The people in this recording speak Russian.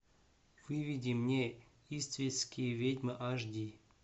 выведи мне иствикские ведьмы аш ди